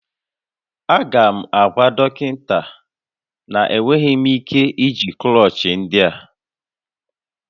Aga m agwa dọkịta na enweghị m ike iji klọchị ndị a